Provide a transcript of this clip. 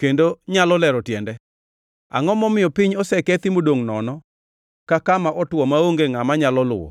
kendo nyalo lero tiende? Angʼo momiyo piny osekethi modongʼ nono ka kama otwo maonge ngʼama nyalo luwo?